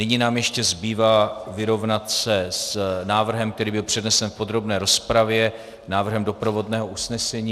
Nyní nám ještě zbývá vyrovnat se s návrhem, který byl přednesen v podrobné rozpravě, návrhem doprovodného usnesení.